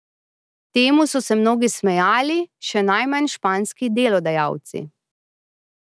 Temu so se mnogi smejali, še najmanj španski delodajalci.